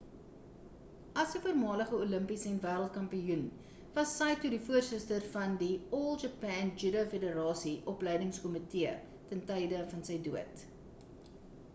as 'n voormalige olimpiese en wereld kampioen was saito die voorsitter van die all japan judo federasie opleidings kommitee ten tye van sy dood